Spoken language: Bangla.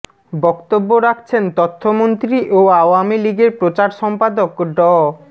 বক্তব্য রাখছেন তথ্যমন্ত্রী ও আওয়ামী লীগের প্রচার সম্পাদক ড